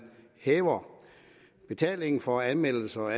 hæver betalingen for anmeldelser og